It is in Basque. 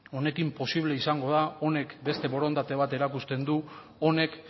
honekin posible izango da honek beste borondate bat erakusten du honek